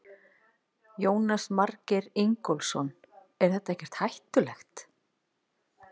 Jónas Margeir Ingólfsson: Er þetta ekkert hættulegt?